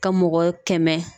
Ka mɔgɔ kɛmɛ